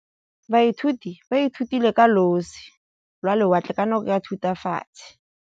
Baithuti ba ithutile ka losi lwa lewatle ka nako ya Thutafatshe.